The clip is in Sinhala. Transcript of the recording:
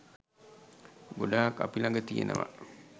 ගොඩාක් අපි ළඟ තියෙනවා.